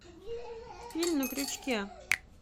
фильм на крючке